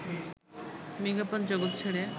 বিজ্ঞাপন জগত ছেড়ে